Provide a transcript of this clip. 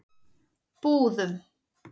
Búðum